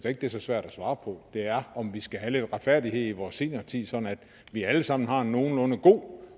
ikke det er så svært at svare på er om vi skal have lidt retfærdighed i vores seniortid sådan at vi alle sammen har en nogenlunde god